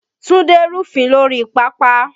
Túndé rúfin lórí pápá